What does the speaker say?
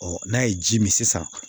n'a ye ji min sisan